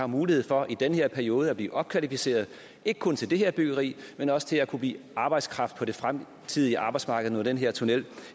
mulighed for i den her periode at blive opkvalificeret ikke kun til det her byggeri men også til at kunne blive arbejdskraft på det fremtidige arbejdsmarked når den her tunnel